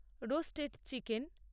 roasted chicken